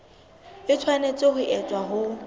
e tshwanetse ho etswa ho